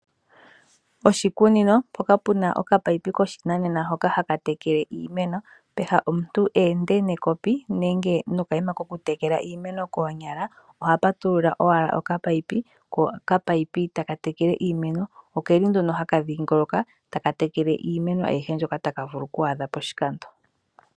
Oshikunino mpoka puna okapipe koshinanena hoka haka vulu oku tekela iimeno peha omuntu eende nekopi nenge nokayima koku tekela iimeno koonyala. Oha patulula owala okapipe ko okapipe taka tekele iimeno. Okeli nduno haka tekele iimeno ayihe mbyoka taka vulu oku adha poshikando.